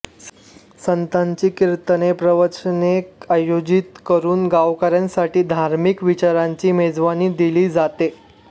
संताची कीर्तने प्रवचने आयोजित करून गावकऱ्यांसाठी धार्मिक विचारांची मेजवाणी दिली जाते